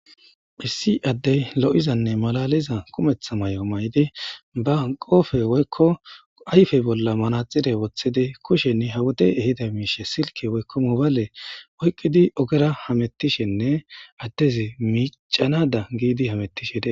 hissi addey lo7izanne malaliza kumetha may7o may7di ba qoofe woykko ayfey bolla manaxide woththidi kushenni hawote ehida miishe silke woykko mobale oyqqidi ogera hamettishenne addezi miicanada giidi hamettishede